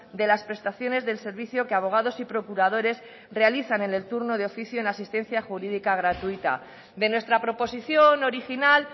de las prestaciones del servicio que abogados y procuradores realizan en el turno de oficio en asistencia jurídica gratuita de nuestra proposición original